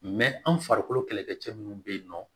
an farikolo kɛlɛkɛcɛ minnu bɛ yen nɔ